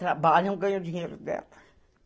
Trabalham, ganham dinheiro dela. (fala emocionada)